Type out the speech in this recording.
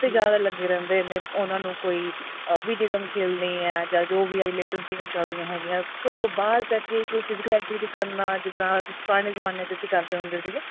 ਤੇ ਜਿਆਦਾ ਲੱਗੇ ਰਹਿੰਦੇ ਨੇ ਉਹਨਾ ਨੂੰ ਕੋਈ ah video game ਖੇਲਣੇ ਏ ਚੱਲ ਜੋ ਵੀ ਇਹ latest games ਚੱਲਦੀਆਂ ਹੈਗੀਆਂ ਘਰੋ ਬਾਹਰ ਜਾ ਕੇ ਇੱਕ ਦੂਜੇ activity ਕਰਨਾ ਜਿੱਦਾਂ ਪੁਰਾਣੇ ਜਮਾਨੇ ਅਸੀਂ ਕਰਦੇ ਹੁੰਦੇ ਸੀਗੇ